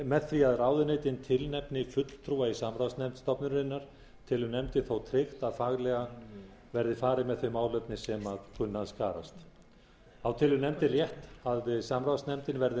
með því að ráðuneytin tilnefni fulltrúa í samráðsnefnd stofnunarinnar telur nefndin þó tryggt að faglega verði farið með þau málefni sem kunna að skarast þá telur nefndin rétt að samráðsnefndin verði